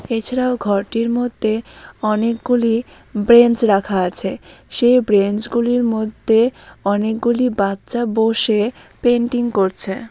এছাড়াও ঘরটির মধ্যে অনেকগুলি বেঞ্চ রাখা আছে সে বেঞ্চ গুলির মধ্যে অনেকগুলি বাচ্চা বসে পেন্টিং করছে।